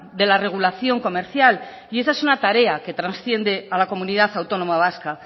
de la regulación comercial y esa es una tarea que trasciende a la comunidad autónoma vasca